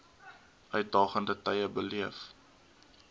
uitdagende tye beleef